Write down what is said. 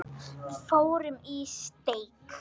Við fórum í steik.